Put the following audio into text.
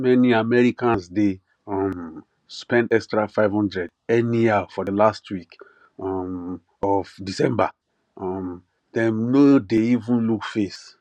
many americans dey um spend extra 500 anyhow for the last week um of december um dem no dey even look face